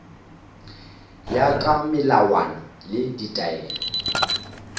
ya ka melawana le ditaelo